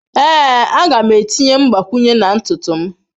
Ee, a ga m etinye mgbakwunye na ntutu m.